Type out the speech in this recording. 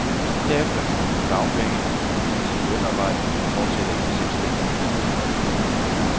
Herefter kan man få dagpenge, hvis man mister sit lønarbejde men fortsætter i den selvstændige virksomhed.